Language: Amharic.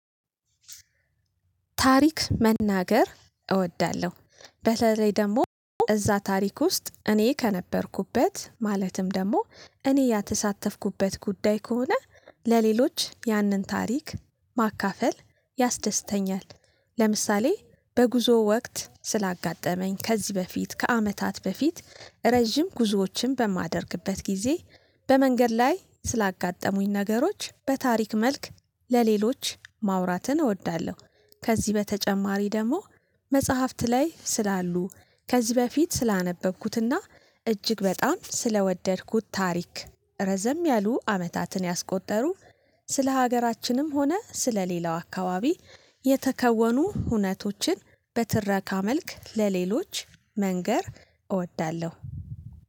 ታሪክ መናገር እወዳለሁ በተለይ ደግሞ እዛ ታሪክ ውስጥ እኔ ከነበርኩበት ማለትም ደግሞ እኔ የተሳተፍኩበት ጉዳይ ከሆነ ለሌሎች ያንን ታሪክ ማካፈል ያስደስተኛል። ለምሳሌ በጉዞ ወቅት ስላጋጠመኝ ከዚህ በፊት ከአመታት በፊት ረጅም ጉዞዎችን በማደርግበት ጊዜ በመንገድ ላይ ስላጋጠሙኝ ነገሮች በታሪክ መልክ ለሌሎች ማውራትን እወዳለሁ። ከዚህ በተጨማሪ ደግሞ መጽሐፍት ላይ ስላሉ ከዚህ በፊት ስላነበብኩትና እጅግ በጣም ስለወደድኩት ታሪክ ረዘም ያሉ አመታትን ያስቆጠሩ ስለ ሀገራችንም ሆነ ስለ ሌላው አካባቢ የተከወኑ እውነቶችን በትረካ መልክ ለሌሎች መንገር እወዳለሁ